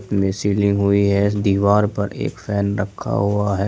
इनमें सीलिंग हुई है दीवार पर एक फैन रखा हुआ है।